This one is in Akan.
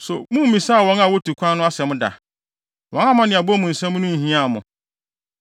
So mummmisaa wɔn a wotu kwan no asɛm da? Wɔn amanneɛbɔ mu nsɛm ho nhiaa mo